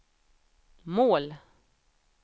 mål